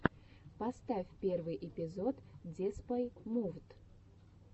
поставь первый эпизод деспай мувд